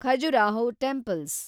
Khajuraho temples